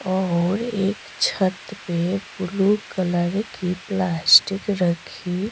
और एक छत पे बुलु कलर की प्लास्टिक रखी --